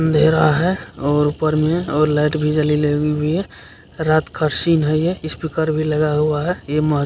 अंधेरा है और ऊपर में और लाएट भी जली लगी हुई है रात का सीन है ये स्पीकर भी लगा हुआ है ये मह --